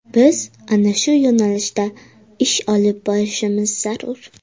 Biz ana shu yo‘nalishda ish olib borishimiz zarur.